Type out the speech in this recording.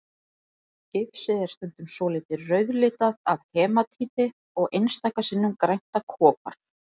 Gifsið er stundum svolítið rauðlitað af hematíti og einstaka sinnum grænt af kopar.